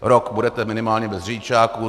Rok budete minimálně bez řidičáku.